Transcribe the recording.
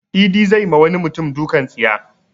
Idi zai ma wani mutum dukan tsiya.